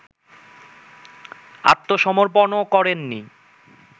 আত্মসমর্পণও করেননি